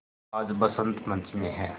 आज बसंत पंचमी हैं